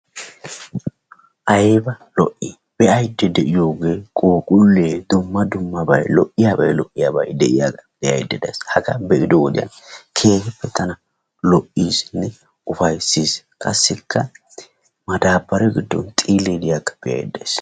Ayiba lo7ii be7ayidda de7iyogee phuuphullee dumma dummabayi lo7iyaaba lo7iyaabayi de7iyaga be7ayidda de7ayis. Hagaa be7ido wodiyan keehippebtana lo7iisinne ufayissis qassikka madaabbare giddon xiillee diyagee beettes.